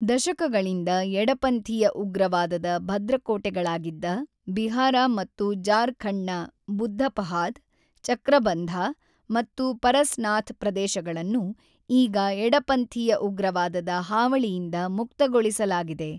ದಶಕಗಳಿಂದ ಎಡಪಂಥೀಯ ಉಗ್ರವಾದದ ಭದ್ರಕೋಟೆಗಳಾಗಿದ್ದ ಬಿಹಾರ ಮತ್ತು ಜಾರ್ಖಂಡ್ನ ಬುದ್ಧ ಪಹಾದ್, ಚಕ್ರಬಂಧ ಮತ್ತು ಪರಸ್ನಾಥ್ ಪ್ರದೇಶಗಳನ್ನು ಈಗ ಎಡಪಂಥೀಯ ಉಗ್ರವಾದದ ಹಾವಳಿಯಿಂದ ಮುಕ್ತಗೊಳಿಸಲಾಗಿದೆ